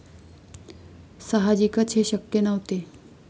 साहजिकच हे शक्य नव्हते.